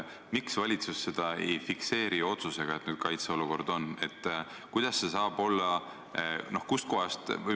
Miks valitsus ei fikseeri oma otsusega, et nüüd on kaitseolukord?